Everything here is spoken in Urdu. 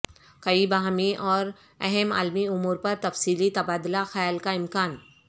کئی باہمی اور اہم عالمی امور پر تفصیلی تبادلہ خیال کا امکان